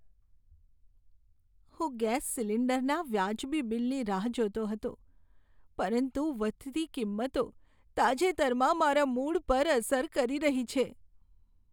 હું ગેસ સિલિન્ડરના વાજબી બિલની રાહ જોતો હતો, પરંતુ વધતી કિંમતો તાજેતરમાં મારા મૂડ પર અસર કરી રહી છે.